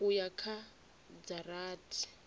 u ya kha dza rathi